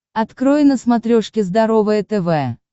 открой на смотрешке здоровое тв